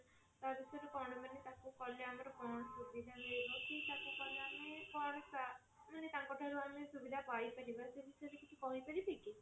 ତା ବିଷୟରେ କଣ ମାନେ ତାକୁ କଲେ ମାନେ କଣ ସୁବିଧା ମିଳିବ କି ତାକୁ କାଲେ ଆମେ କଣ ମାନେ ତାଙ୍କ ଠାରୁ ଆମେ ସୁବିଧା ପାଇ ପାରିବା ସେ ବିଷୟରେ କିଛି କହି ପାରିବେ କି?